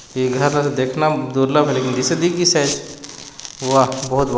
देखना ता देखना बदिसी दे वह्ह्ह बहुत --